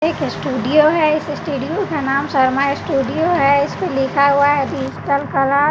एक स्टूडियो है इस स्टूडियो का नाम शर्मा स्टूडियो है इसपे लिखा हुआ है डिजिटल कलर ।